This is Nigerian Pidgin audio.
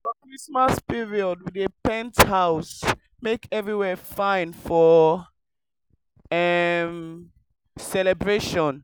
for christmas period we dey paint house make everywhere fine for um celebration.